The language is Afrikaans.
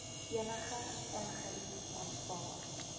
enige ongerief aanvaar